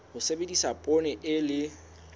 ho sebedisa poone e le